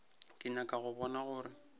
ke nyaka go bona gore